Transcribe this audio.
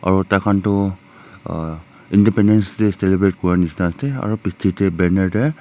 aro taikhan toh uh independence day celebrate kure nishena ase aro pichey de banner de--